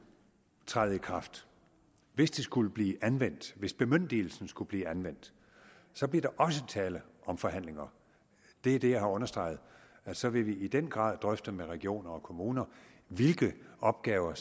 træde i kraft hvis det skulle blive anvendt hvis bemyndigelsen skulle blive anvendt så bliver der også tale om forhandlinger det er det jeg har understreget at så vil vi i den grad drøfte med regioner og kommuner hvilke opgaver